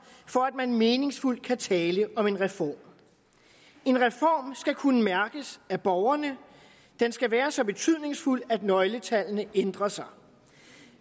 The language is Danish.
for at man meningsfuldt kan tale om en reform skal kunne mærkes af borgerne den skal være så betydningsfuld at nøgletallene ændrer sig